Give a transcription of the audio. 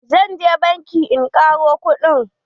Zan je banki in ƙaro kuɗi.